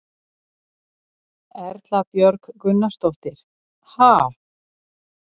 Erla Björg Gunnarsdóttir: Ha?